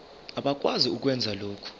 abakwazi ukwenza lokhu